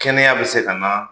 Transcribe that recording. Kɛnɛya bi se ka na